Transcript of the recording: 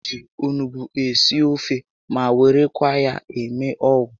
Eji onugbu esi ofe ma werekwa ya eme ọgwụ